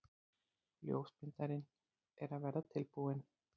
Ljósmyndarinn er að verða tilbúinn.